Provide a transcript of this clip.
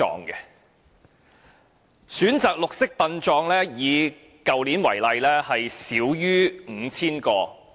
以去年為例，選擇"綠色殯葬"的少於 5,000 個。